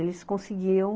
Eles conseguiam